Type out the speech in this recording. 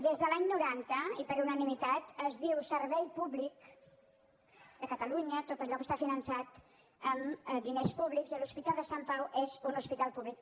des de l’any noranta i per unanimitat es diu servei pú·blic de catalunya tot allò que està finançat amb di·ners públics i l’hospital de sant pau és un hospital públic